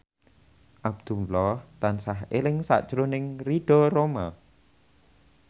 Abdullah tansah eling sakjroning Ridho Roma